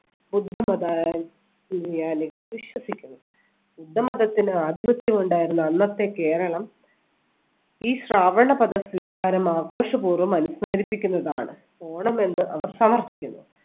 ബുദ്ധ മതാനു~നുയാനികൾ വിശ്വസിക്കുന്നു. ബുദ്ധമതത്തിന് ആധിപത്യം ഉണ്ടായിരുന്ന അന്നത്തെ കേരളം ഈ ശ്രാവണപദ സ്വീകാരം ആഘോഷപൂർവ്വം അനുസ്മരിപ്പിക്കുന്നതാണ് ഓണം എന്ന് അവർ സമർത്ഥിക്കുന്നു.